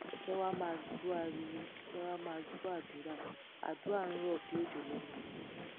kẹ ẹ wàá máa gbọ ariwo kẹẹ wàá máa gbọ àdúrà àdúà ń rò bíi òjò lẹnu wọn ni